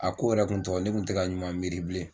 A ko yɛrɛ kun tɔ ne kun tɛ ɲuman miiri bilen.